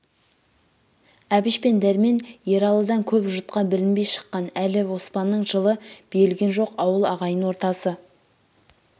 әбіш пен дәрмен ералыдан көп жұртқа білінбей шыққан әлі оспанның жылы берілген жоқ ауыл ағайын ортасы